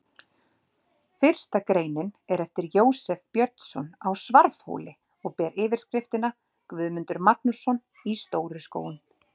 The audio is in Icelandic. Fyrsta greinin er eftir Jósef Björnsson á Svarfhóli og ber yfirskriftina: Guðmundur Magnússon í Stóru-Skógum.